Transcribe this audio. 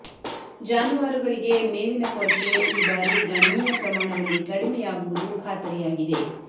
ಜಾನುವಾರುಗಳಿಗೆ ಮೇವಿನ ಕೊರತೆ ಈ ಬಾರಿ ಗಣನೀಯ ಪ್ರಮಾಣದಲ್ಲಿ ಕಡಿಮೆಯಾಗುವುದು ಖಾತರಿಯಾಗಿದೆ